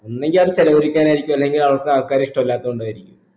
ഒന്നുങ്കി അത് ചെലവഴിക്കാനായിരിക്കും അല്ലെങ്കി അവർക്ക് ആൾക്കാരെ ഇഷ്ടല്ലാത്തോണ്ടായിരിക്കും